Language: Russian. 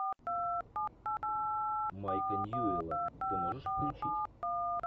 майка ньюэлла ты можешь включить